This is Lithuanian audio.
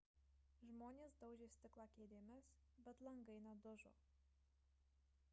žmonės daužė stiklą kėdėmis bet langai nedužo